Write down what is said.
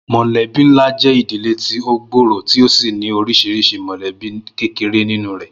Mò̩lé̩bí ńlá jé̩ ìdílé ti ó gbòòrò tí ó sì ní orís̩iris̩I mò̩lé̩bí kéreké nínú rè̩